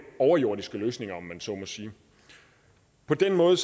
overjordiske løsninger om man så må sige på den måde